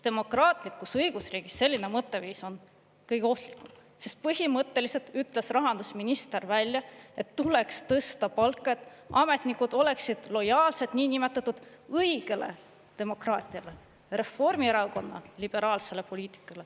Demokraatlikus õigusriigis selline mõtteviis on kõige ohtlikum, sest põhimõtteliselt ütles rahandusminister välja, et tuleks tõsta palka, et ametnikud oleksid lojaalsed niinimetatud õigele demokraatiale, Reformierakonna liberaalsele poliitikale.